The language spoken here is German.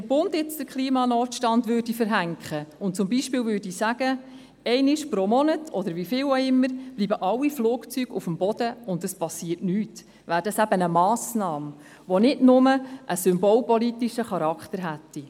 Würde der Bund jetzt den Klimanotstand verhängen und zum Beispiel sagen: «Einmal pro Monat, oder wie viele Male auch immer, bleiben alle Flugzeuge auf dem Boden, und es passiert nichts.», dann wäre das eine Massnahme, die nicht nur einen symbolpolitischen Charakter hätte.